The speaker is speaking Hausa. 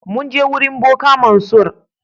Mun je wurin boka Mansur.